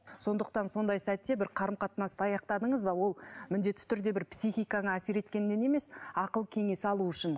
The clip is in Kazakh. сондықтан сондай сәтте бір қарым қатынасты аяқтадыңыз ба ол міндетті түрде бір психиканы әсер еткеннен емес ақыл кеңес алу үшін